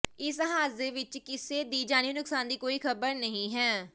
ਇਸ ਹਾਦਸੇ ਵਿੱਚ ਕਿਸੇ ਦੇ ਜਾਨੀ ਨੁਕਸਾਨ ਦੀ ਕੋਈ ਖ਼ਬਰ ਨਹੀਂ ਹੈ